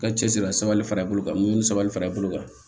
Ka cɛsiri la sabali fara i bolo kan mun sabali fara i bolo kan